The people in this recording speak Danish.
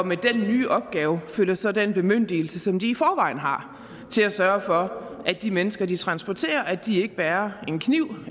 med den nye opgave følger så den bemyndigelse som de i forvejen har til at sørge for at de mennesker de transporterer ikke bærer en kniv